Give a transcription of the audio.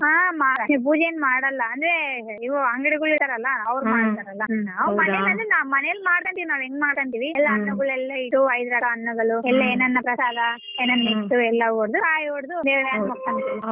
ಹ್ಮ್ ಮಾಡ್ತೀವಿ ಪೊಜೆ ಏನ್ ಮಾಡಲ್ಲ ಅಂದ್ರೆ ಇವು ಅಂಗಡಿಗಳ್ಗ್ ಇಡ್ತಾರಲ್ಲಾ ಅವ್ರು ಮಾಡ್ತಾರಲ್ಲ ನಾವು ಮನೆಲೆಲ್ಲಾ ನಾವ್ ಮಾಡ್ಕಾಂತಿವಿ ನಾವ್ ಹೆಂಗ್ ಮಾಡ್ಕಾಂತಿವಿ ಎಲ್ಲ ಹಣ್ಣುಗಳೆಲ್ಲಾ ಇಟ್ಟು ಎಲ್ಲ ಐದ್ ತರ ಹಣ್ಣುಗಳು ಎಲ್ಲ ಏನೇನು ಪ್ರಸಾದ ಏನೇನು ಇಟ್ಟು ಎಲ್ಲಾ ಇಟ್ಟು ಕಾಯಿ ಹೊಡ್ದು ಮಾಡ್ತೀವಿ.